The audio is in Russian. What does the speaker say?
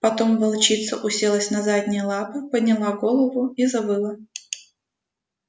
потом волчица уселась на задние лапы подняла голову и завыла